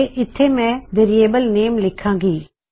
ਤੇ ਇੱਥੇ ਮੈਂ ਵੇਰਿਯੇਬਲ ਨੇਮ ਲਿਖਾਂ ਗੀ